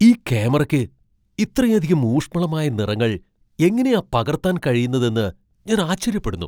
ഈ ക്യാമറയ്ക്ക് ഇത്രയധികം ഊഷ്മളമായ നിറങ്ങൾ എങ്ങനെയാ പകർത്താൻ കഴിയുന്നതെന്ന് ഞാൻ ആശ്ചര്യപ്പെടുന്നു!